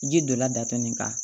Ji donna datugu nin kan